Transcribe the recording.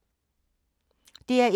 DR1